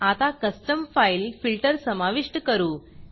आता custom file filter समाविष्ट करू